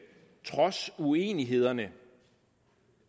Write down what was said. trods uenighederne